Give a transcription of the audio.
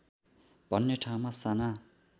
भन्ने ठाउँमा साना